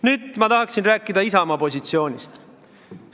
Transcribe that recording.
Nüüd ma tahan rääkida Isamaa positsioonist.